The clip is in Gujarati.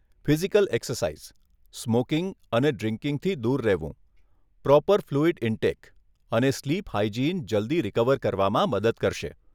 ફિઝિકલ એક્સરસાઇઝ, સ્મોકીંગ અને ડ્રિંકીંગથી દૂર રહેવું, પ્રોપર ફલ્યુઇડ ઇન્ટેક, અને સ્લીપ હાઇજિન જલ્દી રિકવર કરવામાં મદદ કરશે.